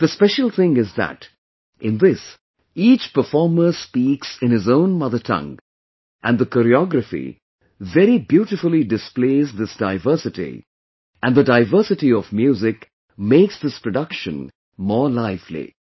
The special thing is that in this each performer speaks in his own mother tongue and the choreography very beautifully displays this diversity and the diversity of music makes this production more lively